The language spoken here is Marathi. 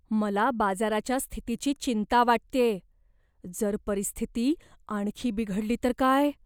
मला बाजाराच्या स्थितीची चिंता वाटतेय. जर परिस्थिती आणखी बिघडली तर काय?